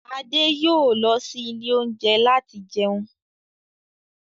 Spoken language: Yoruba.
Adé yòó lọ sí ilé oúnjẹ láti jẹun.